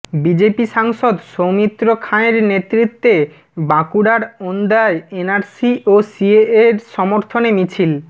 BJP সাংসদ সৌমিত্র খাঁ এর নেতৃত্বে বাঁকুড়ার ওন্দায় এনআরসি ও সিএএ এর সমর্থনে মিছিল